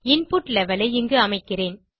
input level ஐ இங்கு அமைக்கிறேன்